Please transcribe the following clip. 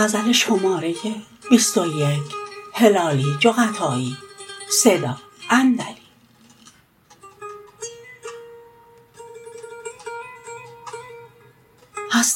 هست